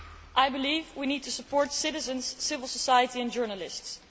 I believe we need to support citizens, civil society and journalists.